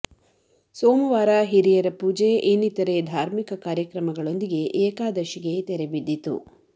ಸೋಮವಾರ ಹಿರಿಯರ ಪೂಜೆ ಇನ್ನಿತರೆ ಧಾರ್ಮಿಕ ಕಾರ್ಯಕ್ರಮಗಳೊಂದಿಗೆ ಏಕಾದಶಿಗೆ ತೆರೆ ಬಿದ್ದಿತು